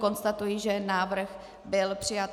Konstatuji, že návrh byl přijat.